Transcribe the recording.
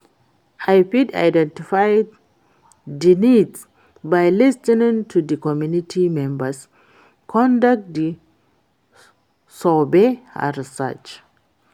i fit identify di needs by lis ten ing to di community members, conduct di surveys and research.